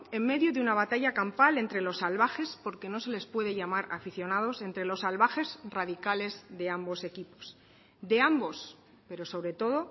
en medio de una batalla campal entre los salvajes porque no se les puede llamar aficionados entre los salvajes radicales de ambos equipos de ambos pero sobre todo